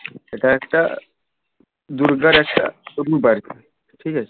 এটা একটা দুর্গার একটা বাড়ি ঠিক আছে